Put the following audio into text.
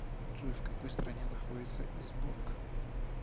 джой в какой стране находится изборк